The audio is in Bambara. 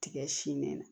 Tigɛ sin de la